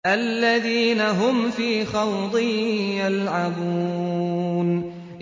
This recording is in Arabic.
الَّذِينَ هُمْ فِي خَوْضٍ يَلْعَبُونَ